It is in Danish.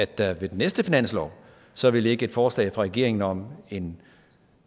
der ved den næste finanslov så vil ligge et forslag fra regeringen om en